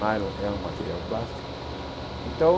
Nylon é um material plástico. Então